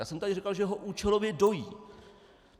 Já jsem tady říkal, že ho účelově dojí.